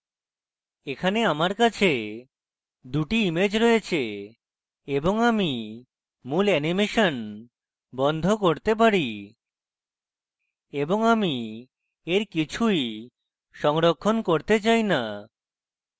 এখানে আমার কাছে এই দুটি ইমেজ রয়েছে এবং আমি মূল অ্যানিমেশন বন্ধ করতে পারি এবং আমি এর কিছুই সংরক্ষণ করতে চাই so